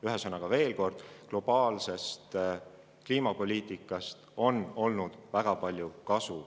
Ühesõnaga, veel kord: globaalsest kliimapoliitikast on olnud väga palju kasu.